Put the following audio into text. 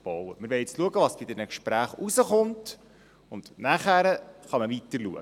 » Wir wollen nun schauen, was bei diesen Gesprächen herauskommt, dann kann man weiterschauen.